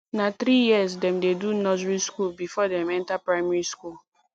na three years dem dey do nursery skool before dem enter primary skool